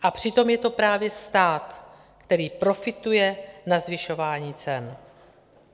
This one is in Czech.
A přitom je to právě stát, který profituje na zvyšování cen.